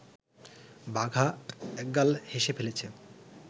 বাঘা একগাল হেসে ফেলেছে